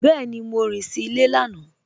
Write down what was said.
Bẹẹni, Mọ rìn sí ilẹ̀ lànà.